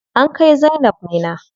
An kai zainab Minna.